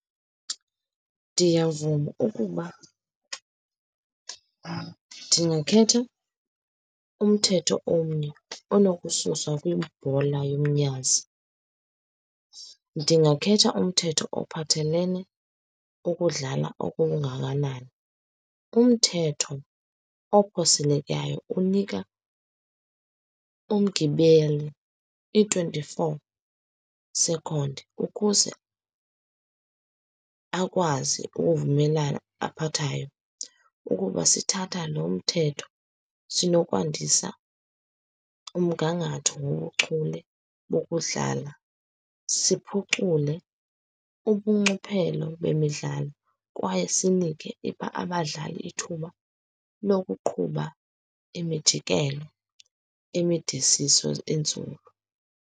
Ndiyavuma ukuba ndingakhetha umthetho omnye enokususwa kwibhola yomnyazi, ndingakhetha umthetho ophathelene ukudlala okungakanani. Umthetho okhuselekayo unika umgibele i-twenty-four second ukuze akwazi ukuvumelana aphathayo. Ukuba sithatha lo mthetho, sinokwandisa umgangatho wobuchule bokudlala, siphucule ubunxiphelo bemidlalo, kwaye sinike abadlali ithuba lokuqhuba imijikelo emidisiso enzulu.